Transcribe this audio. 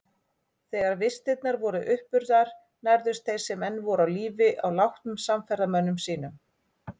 Þegar vistirnar voru uppurnar nærðust þeir sem enn voru á lífi á látnum samferðamönnum sínum.